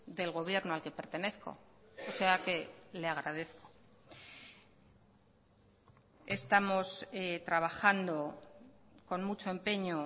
del gobierno al que pertenezco o sea que le agradezco estamos trabajando con mucho empeño